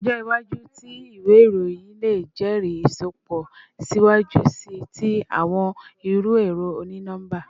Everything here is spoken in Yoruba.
Ọjọ iwaju ti iwe iroyin le jẹri isọpọ siwaju sii ti awọn iru ẹrọ oni-nọmba